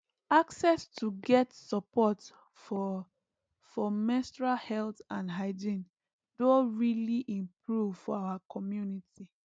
access to get support for for menstrual health and hygiene doh really improve for our community